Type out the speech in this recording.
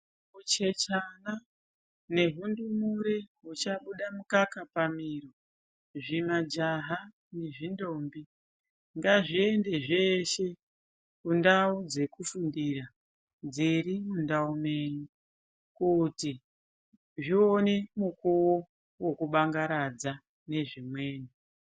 Huchechana nehundumure huchabuda mukaka pamhiro, zvimajaha nezvindombi ngazviende zveshe kundau dzekufundira dziri mundau menyu, kuti zvione nguva yekubangaradza nezvimweni.